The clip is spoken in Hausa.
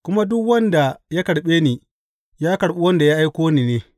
Kuma duk wanda ya karɓe ni, ya karɓi wanda ya aiko ni ne.’